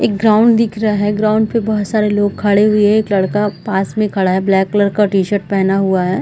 एक ग्राउंड दिख रहा है ग्राउंड पे बहोत सारे लोग खड़े हुए एक लड़का पास में खड़ा है ब्लैक कलर का टी-शर्ट पेहना हुआ है।